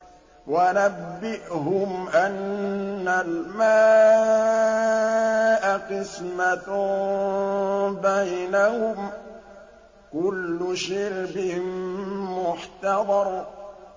وَنَبِّئْهُمْ أَنَّ الْمَاءَ قِسْمَةٌ بَيْنَهُمْ ۖ كُلُّ شِرْبٍ مُّحْتَضَرٌ